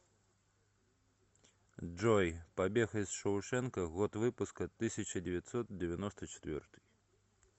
джой побег из шоушенка год выпуска тысяча девятьсот девяносто четвертый